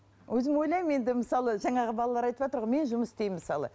өзім ойлаймын енді мысалы жаңағы балалар айтыватыр ғой мен жұмыс істеймін мысалы